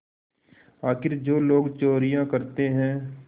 आखिर जो लोग चोरियॉँ करते हैं